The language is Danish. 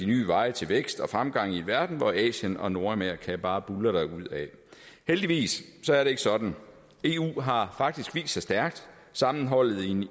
nye veje til vækst og fremgang i en verden hvor asien og nordamerika bare buldrer derudad heldigvis er det ikke sådan eu har faktisk vist sig stærkt sammenholdet i en